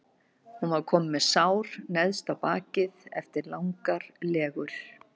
Hún var komin með sár neðst á bakið eftir langar legur.